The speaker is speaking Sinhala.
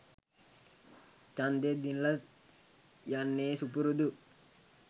චන්දය දිනල යන්නේ සුපුරුදු